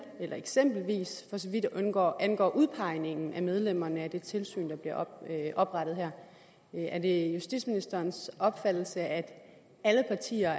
eksempelvis for så vidt angår angår udpegningen af medlemmerne af det tilsyn der bliver oprettet her er det justitsministerens opfattelse at alle partier